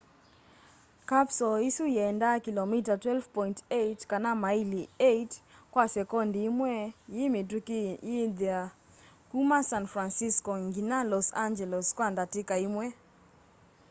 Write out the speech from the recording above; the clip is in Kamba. kapsoo isu yiendaa kilomita 12.8 kana maili 8 kwa sekondi imwe yi mitũki yithi kũma san francisco nginya los angeles kwa ndatika imwe